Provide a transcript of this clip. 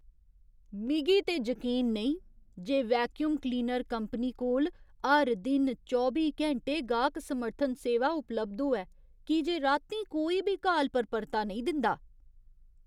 मिगी ते जकीन नेईं जे वैक्यूम क्लीनर कंपनी कोल हर दिन चौबी घैंटे गाह्क समर्थन सेवा उपलब्ध होऐ की जे रातीं कोई बी काल पर परता नेईं दिंदा।